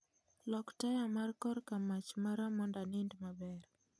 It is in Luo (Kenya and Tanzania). Lok taya mar kor kamach mara mondo anind maber